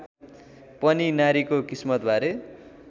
पनि नारीको किस्मतबारे